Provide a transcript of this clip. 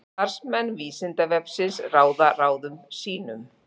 Starfsmenn Vísindavefsins ráða ráðum sínum.